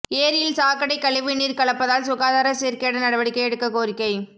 ஏரியில் சாக்கடை கழிவுநீர் கலப்பதால் சுகாதார சீர்கேடு நடவடிக்கை எடுக்க கோரிக்கை